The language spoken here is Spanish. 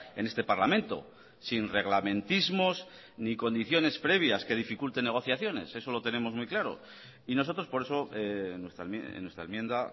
en este parlamento sin reglamentismos ni condiciones previas que dificulten negociaciones eso lo tenemos muy claro y nosotros por eso en nuestra enmienda